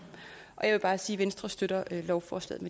bare sige at venstre støtter lovforslaget